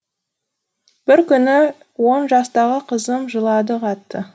бір күні он жастағы қызым жылады қатты